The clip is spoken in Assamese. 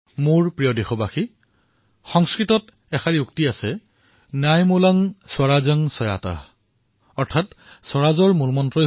মোৰ মৰমৰ দেশবাসীসকল সংস্কৃতত এক উদ্ধৃতি আছে ন্যায়মুলঃ স্বৰাজ্যঃ স্বাত অৰ্থাৎ স্বৰাজৰ মূলতে ন্যায় হয়